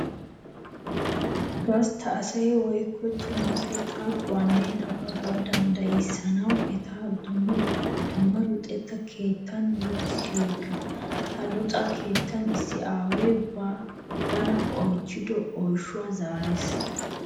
Gastta asaa woykko cima asaa xaafuwanne nababbuwaa danddayissanawu etta dumma luxetta keettan luxissiyooga. Ha luxetta keettan issi aaway bana oychchido oyshsha zaarees.